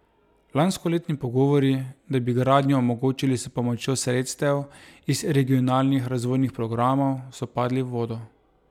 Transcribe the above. Lanskoletni pogovori, da bi gradnjo omogočili s pomočjo sredstev iz regionalnih razvojnih programov, so padli v vodo.